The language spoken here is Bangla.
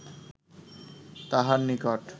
তাহার নিকট